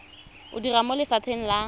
o dira mo lefapheng la